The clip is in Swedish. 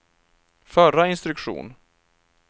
förra instruktion